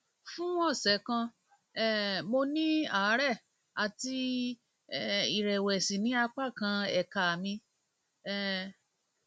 fún ọsẹ kan um mo ní àárẹ àti um ìrẹwẹsì ní apá kan ẹka mi um